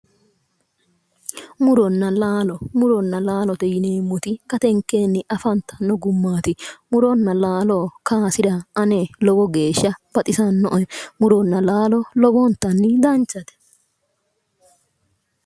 Muronna laalo, muronna laalote yineemmoti gatenkeenni afantanno gummaati muronna laalo kaasira ane lowo geeshsha baxisannoe. muronna laaloblowontanni danchate.